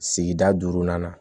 Sigida duurunan na